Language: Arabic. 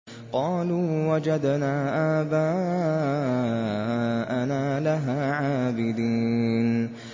قَالُوا وَجَدْنَا آبَاءَنَا لَهَا عَابِدِينَ